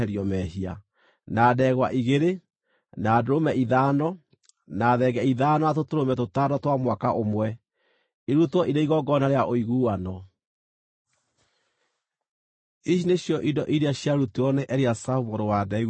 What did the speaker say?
na ndegwa igĩrĩ, na ndũrũme ithano, na thenge ithano, na tũtũrũme tũtano twa mwaka ũmwe, irutwo irĩ igongona rĩa ũiguano. Ici nĩcio indo iria ciarutirwo nĩ Eliasafu mũrũ wa Deueli.